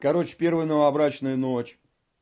короче первая новобрачная ночь